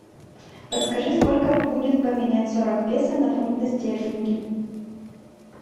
подскажи сколько будет поменять сорок песо на фунты стерлинги